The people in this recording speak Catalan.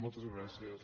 moltes gràcies